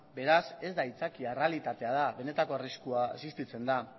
beraz ez da aitzakia errealitatea da benetako arriskua existitzen da